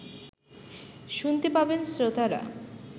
শুনতে পাবেন শ্রোতারা